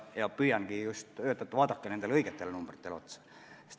Ma püüangi öelda, et vaadake õigetele numbritele otsa.